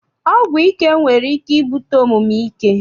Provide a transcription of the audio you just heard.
Ọgwụ ike nwere ike ibute omume ike.